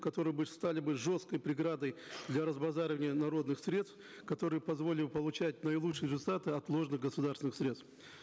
которые бы стали бы жесткой преградой для разбазаривания народных средств которые позволили бы получать наилучшие результаты отложенных государственных средств